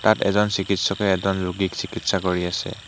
তাত এজন চিকিৎসকে এজন ৰোগীক চিকিৎসা কৰি আছে।